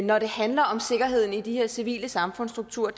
når det handler om sikkerheden i de her civile samfundsstrukturer